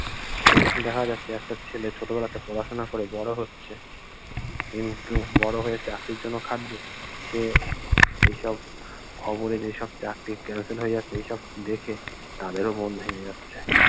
দেখা যাচ্ছে একটা ছেলে ছোট বেলা থেকে পড়াশুনা করে বড় হচ্ছে কিন্ত বড় হয়ে চাকরির জন্য কাঁদবে সে এসব খবরে যে এসব চাকরি cancel হয়ে যাচ্ছে এইসব দেখে তাদের ও মন ভেঙ্গে যাচ্ছে